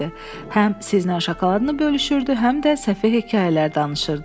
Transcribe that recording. Həm sizinlə şokoladını bölüşürdü, həm də səfeh hekayələr danışırdı.